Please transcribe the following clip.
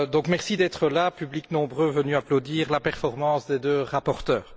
Merci d'être là, public nombreux venu applaudir la performance des deux rapporteurs!